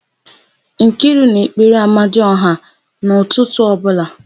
Nkiru na-ekpere amadiọha n'ụtụtụ ọbụla.